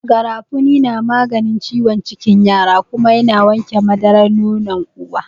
Garafuni na maganin ciwon cikin yara kuma ya na wanke madarar nonon uwa.